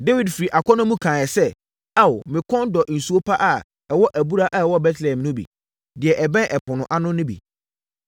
Dawid firi akɔnnɔ mu kaeɛ sɛ, “Ao me kɔn dɔ nsu pa a ɛwɔ abura a ɛwɔ Betlehem no bi; deɛ ɛbɛn ɛpono ano no bi.”